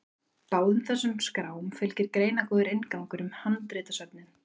Báðum þessum skrám fylgir greinargóður inngangur um handritasöfnin.